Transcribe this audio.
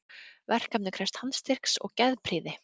Verkefnið krefst handstyrks og geðprýði.